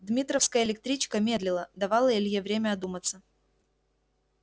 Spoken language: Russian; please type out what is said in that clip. дмитровская электричка медлила давала илье время одуматься